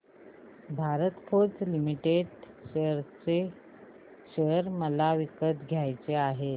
Bharat Forge Limited share मला विकत घ्यायचे आहेत